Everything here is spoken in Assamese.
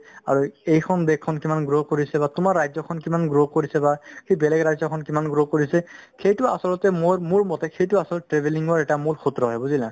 আৰু এইখন দেশখন কিমান grow কৰিছে বা তোমাৰ ৰাজ্যখন কিমান grow কৰিছে বা সেই বেলেগ ৰাজ্যখন কিমান grow কৰিছে সেইটো আচলতে মোৰ~ মোৰমতে সেইটো আচলতে travelling ৰ এটা মূল সূত্ৰ হয় বুজিলা